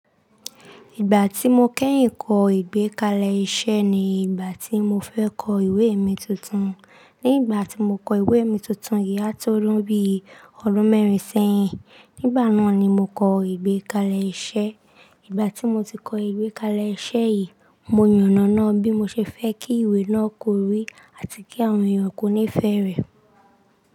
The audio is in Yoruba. Ìgbà tí mo kẹ́yìn kọ ìgbékalẹ̀ iṣẹ́ ni ìgbà tí mo fẹ́ kọ ìwé mi tuntun. Ní ìgbà tí mo kọ ìwé mi tuntun yìí, á tó lún bí ọdún mẹ́rin sẹ́yìn. Nígbà náà ni mo kọ ìgbékalẹ̀ iṣẹ́. Ìgbà tí mo ti kọ ìgbékalẹ̀ iṣẹ́ yìí, mo yànnàná bí mo ṣe fẹ́ kí ìwé náà kọrí àti kí àwọn èèyàn kó níí ìfẹ́ rẹ̀.